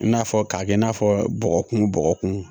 I n'a fɔ k'a kɛ i n'a fɔ bɔgɔkun bɔgɔkun